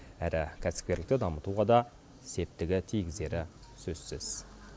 әрі кәсіпкерлікті дамытуға да септігі тигізері сөзсіз